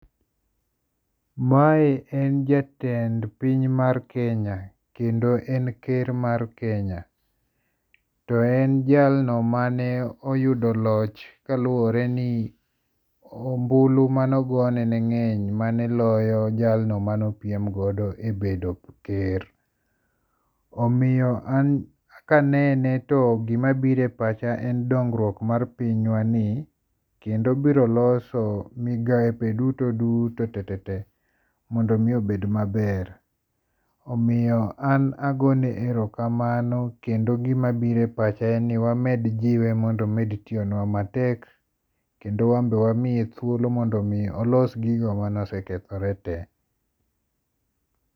Mae en jatend piny mar Kenya, kendo en ker mar Kenya, to en jalno mane oyudo loch kaluore ni ombulu mane ogone ne nge'ny mane loyo jalno mane opiem godo e bedo ker, omiyo en kanene to gima biro pacha en dogruok mar pinywani, kendo obiro loso migape duto duto tetete mondo omi obed maber, omiyo an agoyone erokamano kendo gima biro e pacha en ni wamed jiwe mondo omed tiyonwa matek kendo wambe wamed miye thuolo mondo mi olos gigo mane osekethore te.